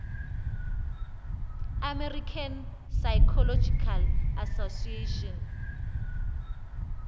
american psychological association